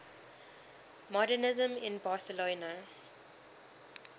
modernisme in barcelona